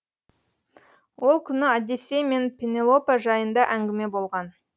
ол күні одиссей мен пенелопа жайында әңгіме болған